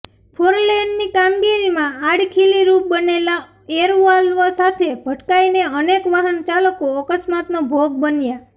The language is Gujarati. ફોરલેનની કામગીરીમાં આડખીલીરૃપ બનેલા એરવાલ્વ સાથે ભટકાઇને અનેક વાહનચાલકો અકસ્માતનો ભોગ બન્યા